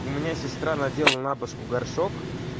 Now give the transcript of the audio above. у меня сестра надела на башку горшок